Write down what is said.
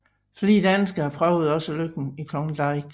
Flere danskere prøvede også lykken i Klondike